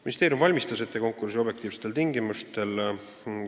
" Ministeerium valmistas konkursi ette objektiivsetel tingimustel.